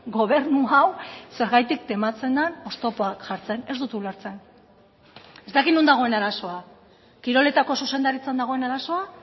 gobernu hau zergatik tematzen den oztopoak jartzen ez dut ulertzen ez dakit non dagoen arazoa kiroletako zuzendaritzan dagoen arazoa